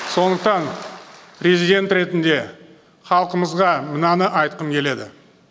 сондықтан президент ретінде халқымызға мынаны айтқым келеді